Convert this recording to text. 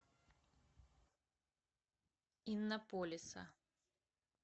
иннополиса